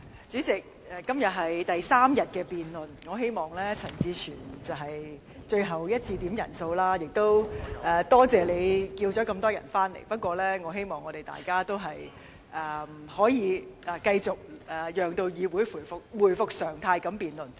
主席，今天是第三天舉行議案辯論，我希望這是陳志全議員最後一次要求點算法定人數，也多謝他傳召這麼多議員回來，不過我希望大家能夠讓議會回復常態地辯論。